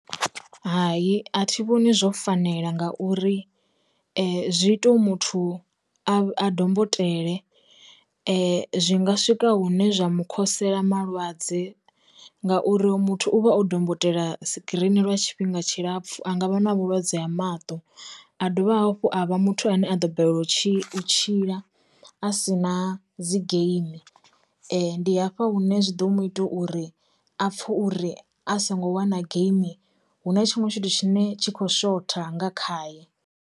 Hai a thi vhoni zwo fanela ngauri, zwi ita uri muthu a dombotele, zwi nga swika hune zwa mu khosela malwadze ngauri muthu u vha o dombo tela screen lwa tshifhinga tshilapfu a nga vha na vhulwadze ha maṱo, a dovha hafhu a vha muthu ane a ḓo balelwa u tshi tshila a si na dzi geimi. Ndi hafha hune zwi ḓo muita uri a pfhe uri a songo wana geimi hu na tshiṅwe tshithu tshine tshi khou shotha nga khaye.